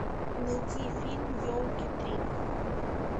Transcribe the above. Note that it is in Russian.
найди фильм елки три